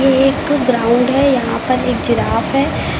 एक ग्राउंड है यहां पर एक जिराफ है।